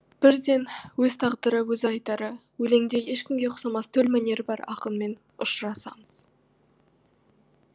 бірден өз тағдыры өз айтары өлеңде ешкімге ұқсамас төл мәнері бар ақынмен ұшырасамыз